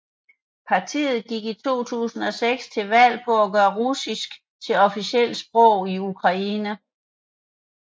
Partiet gik i 2006 til valg på at gøre russisk til officielt sprog i Ukraine